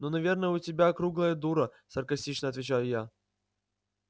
ну наверное я у тебя круглая дура саркастично отвечаю я